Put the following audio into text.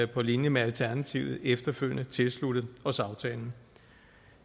på linje med alternativet efterfølgende tilsluttet os aftalen